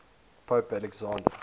pope alexander